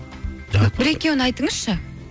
бір екеуін айтыңызшы